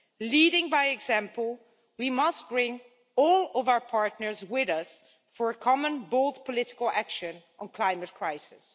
Leading by example we must bring all of our partners with us for common, bold political action on the climate crisis.